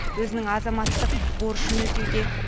өзінің азаматтық борышын өтеуде